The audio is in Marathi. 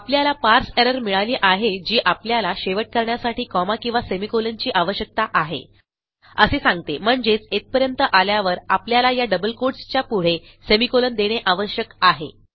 आपल्याला पारसे एरर मिळाली आहे जी आपल्याला शेवट करण्यासाठी कॉमा किंवा सेमिकोलॉन ची आवश्यकता आहे असे सांगते म्हणजेच येथपर्यंत आल्यावर आपल्याला या डबल quotesच्या पुढे सेमिकोलॉन देणे आवश्यक आहे